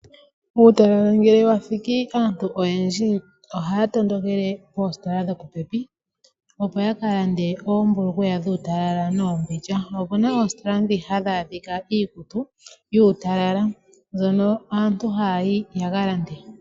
Uutalala ngele wa thiki aantu oyendji ohaya tondokele koositola dho popepi, opo yaka lande oombulukweya dhuutalala noombindja. Opuna oositola dhoka hadhi adhika iikutu yuutalala mbyono aantu haya yi yaka lande.